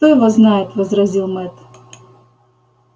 кто его знает возразил мэтт